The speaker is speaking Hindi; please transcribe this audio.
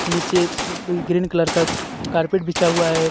निचे ग्रीन कलर का कार्पेट बिछा हुआ है.